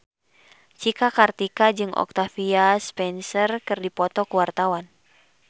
Cika Kartika jeung Octavia Spencer keur dipoto ku wartawan